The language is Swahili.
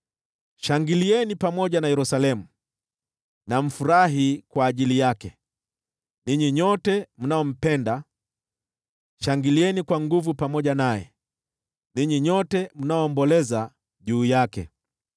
“Shangilieni pamoja na Yerusalemu na mfurahi kwa ajili yake, ninyi nyote mnaompenda, shangilieni kwa nguvu pamoja naye, ninyi nyote mnaoomboleza juu yake.